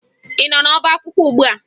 Ị nọ n'ọbaakwụkwọ ugbua?